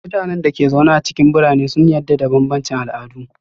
Mutanen da ke zaune a cikin birane sun yarda da bambancin al'adu.